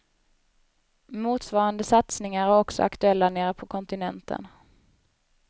Motsvarande satsningar är också aktuella nere på kontinenten.